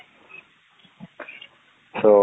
so